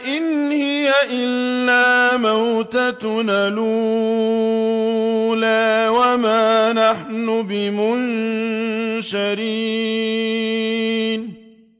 إِنْ هِيَ إِلَّا مَوْتَتُنَا الْأُولَىٰ وَمَا نَحْنُ بِمُنشَرِينَ